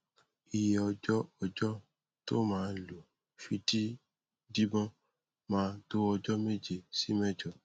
iye ọjọ ọjọ tó maa lò fi di díbọn máa tó ọjọ méje sí mẹjọ